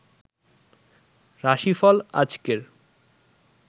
রাশি ফল আজকের